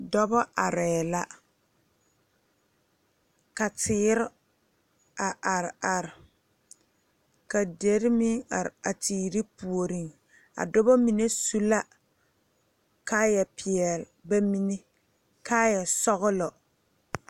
Dɔbɔ arɛɛ la ka teere a are are ka dere meŋ are a teere puoriŋ a dɔbɔ mine su la kaayɛ peɛle ba mine kaayɛ sɔglɔ.